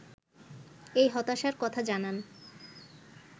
এই হতাশার কথা জানান